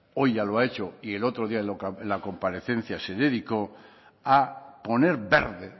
hoy ya lo ha hecho y el otro día en la comparecencia se dedicó a poner verde